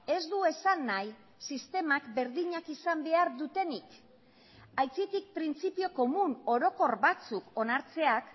ez du esan nahi sistemak berdinak izan behar dutenik aitzitik printzipio komun orokor batzuk onartzeak